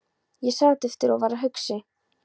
Ég sat eftir og var hugsi.